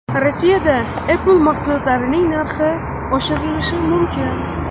Rossiyada Apple mahsulotlarining narxi oshirilishi mumkin.